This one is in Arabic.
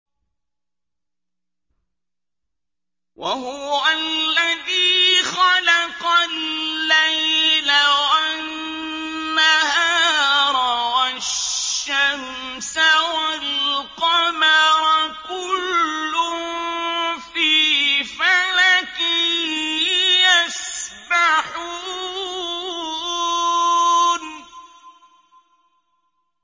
وَهُوَ الَّذِي خَلَقَ اللَّيْلَ وَالنَّهَارَ وَالشَّمْسَ وَالْقَمَرَ ۖ كُلٌّ فِي فَلَكٍ يَسْبَحُونَ